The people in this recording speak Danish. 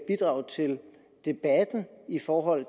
bidrag til debatten i forhold